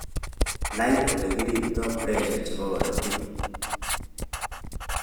Nai agobaa ole iriptai pressure chebaa korotik